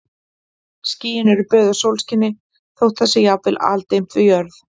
Skýin eru böðuð sólskini þótt það sé jafnvel aldimmt við jörð.